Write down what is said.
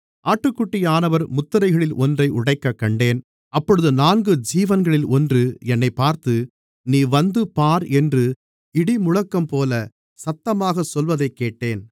ஆட்டுக்குட்டியானவர் முத்திரைகளில் ஒன்றை உடைக்கக் கண்டேன் அப்பொழுது நான்கு ஜீவன்களில் ஒன்று என்னைப் பார்த்து நீ வந்து பார் என்று இடிமுழக்கம்போல சத்தமாகச் சொல்வதைக்கேட்டேன்